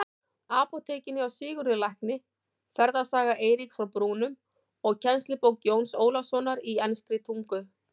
Apótekinu hjá Sigurði lækni, Ferðasaga Eiríks frá Brúnum og kennslubók Jóns Ólafssonar í enskri tungu.